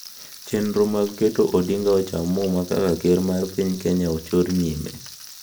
Chenro mag keto Odinga ocham muma kaka Ker mar piny Kenya ochor nyime